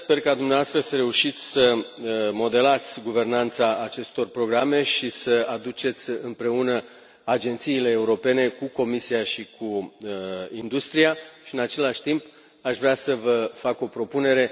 Sper ca dumneavoastră să reușiți să modelați guvernanța acestor programe și să aduceți agențiile europene împreună cu Comisia și cu industria și, în același timp, aș vrea să vă fac o propunere.